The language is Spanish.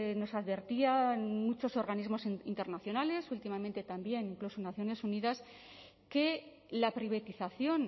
nos advertían muchos organismos internacionales últimamente también incluso naciones unidas que la privatización